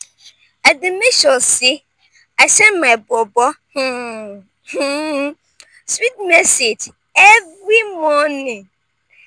i dey make sure sey i send my bobo um um sweet message every morning.